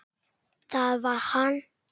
Það var hann.